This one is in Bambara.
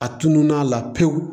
A tunun'a la pewu